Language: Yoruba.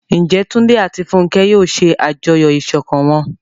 Ǹjẹ́ Túndé àti Fúnkẹ́ yóò ṣe àjọyọ̀ ìṣọ̀kan wọn?